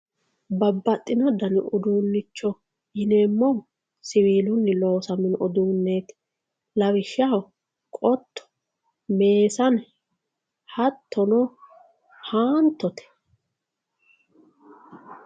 babbaxino dani uduunnicho yineemmohu siwiilunni loosamino uduunneeti lawishshaho qotto meesane hattono haantote .